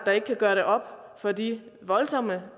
der ikke kan gøre det op for de voldsomme